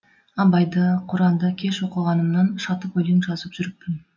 абайды құранды кеш оқығанымнан шатып өлең жазып жүріппін